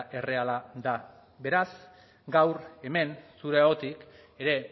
erreala da beraz gaur hemen zure ahotik ere